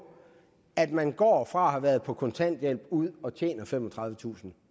at man går fra at have været på kontanthjælp og ud at tjene femogtredivetusind